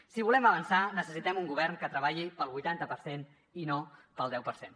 si volem avançar necessitem un govern que treballi per al vuitanta per cent i no per al deu per cent